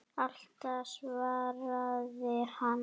Alltaf svaraði hann.